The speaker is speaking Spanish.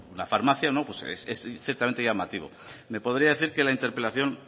una farmacia pues es ciertamente llamativo me podría decir que la interpelación